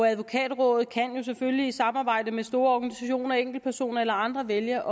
advokatrådet kan jo selvfølgelig i samarbejde med store organisationer enkeltpersoner eller andre vælge